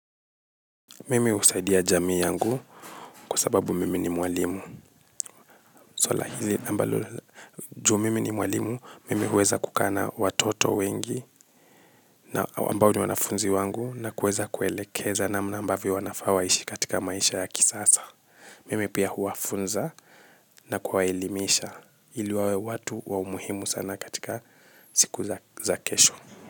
Mimi usaidia jamii yangu kwasababu mimi ni mwalimu. Swala hili ambalo la juu mimi ni mwalimu, mimi huweza kukaa na watoto wengi na ambao ni wanafunzi wangu na kuweza kuelekeza namna ambavyo wanafaa waishi katika maisha ya kisasa. Mimi pia huwafunza na kuwaelimisha ili wawe watu wa umuhimu sana katika siku za kesho.